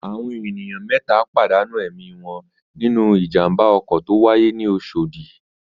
Àwọn ènìyàn mẹ́ta pàdánù ẹ̀mí wọn nínú ìjàm̀ba ọkọ̀ tó wáyé ní Oṣòdì.